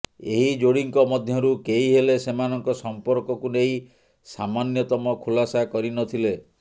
ଏହି ଯୋଡ଼ିଙ୍କ ମଧ୍ୟରୁ କେହି ହେଲେ ସେମାନଙ୍କ ସଂପର୍କକୁ ନେଇ ସାମାନ୍ୟତମ ଖୁଲାସା କରିନଥିଲେ